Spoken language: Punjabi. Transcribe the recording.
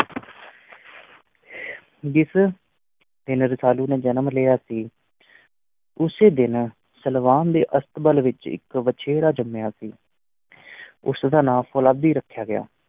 ਜਿਸ ਦਿਨ ਰਸਾਲੂ ਨੇ ਜਨਮ ਲਿਆ ਸੀ ਉਸੇ ਦਿਨ ਸਲਵਾਨ ਦੇ ਅਸਤਬਲ ਵਿੱਚ ਇੱਕ ਵਛੇਰਾ ਜੰਮਿਆ ਸੀ ਉਸ ਦਾ ਨਾਂ ਫ਼ੌਲਾਦੀ ਰੱਖਿਆ ਗਿਆ।